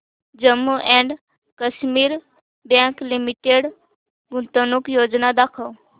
Jammu and Kashmir bank limited गुंतवणूक योजना दाखव